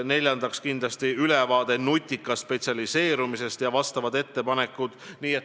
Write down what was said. Neljandaks tehakse kindlasti ülevaade nutikast spetsialiseerumisest ja vastavad ettepanekud.